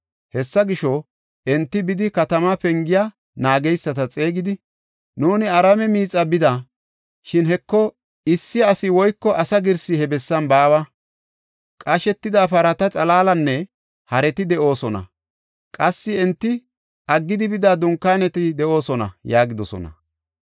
Hessa gisho, enti bidi, katamaa pengiya naageysata xeegidi, “Nuuni Araame miixaa bida; shin, Heko, issi asi woyko asa girsi he bessan baawa. Qashetida parata xalaalinne hareti de7oosona; qassi enti aggidi bida dunkaaneti de7oosona” yaagidosona.